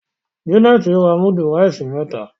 Janet rà mudu rice meta.